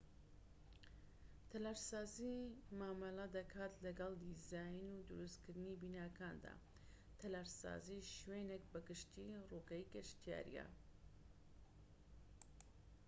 تەلارسازی مامەلە دەکات لەگڵ دیزاین و دروستکردنی بیناکاندا تەلارسازیی شوێنێك بە گشتیی ڕووگەی گەشتیاریە